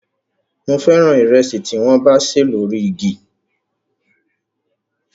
Mo fẹ́ràn ìrẹsì tí wọ́n bá ṣè lórí igi